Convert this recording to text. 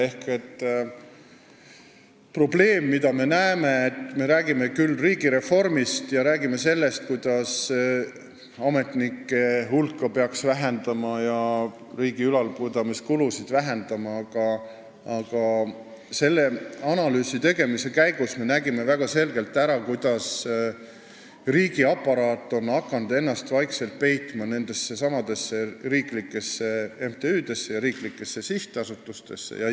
Ehk siin on probleem: me küll räägime riigireformist ja sellest, kuidas peaks vähendama ametnike hulka ja riigi ülalpidamise kulusid, aga selle analüüsi tegemise käigus me nägime väga selgelt ära, kuidas riigiaparaat on hakanud ennast vaikselt nendessesamadesse riiklikesse MTÜ-desse ja riiklikesse sihtasutustesse peitma.